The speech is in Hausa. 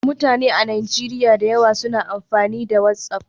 Mutane da yawa a Najeriya suna amfani da WhatsApp.